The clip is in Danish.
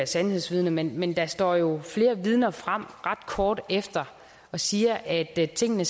sandhedsvidne men men der står jo flere vidner frem ret kort efter og siger at tingene